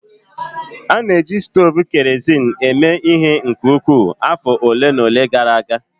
A na-eji stovu kerosin eme ihe nke ukwuu afọ ole na ole gara aga